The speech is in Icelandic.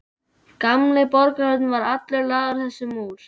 Gamli borgarhlutinn var allur lagður þessum múr.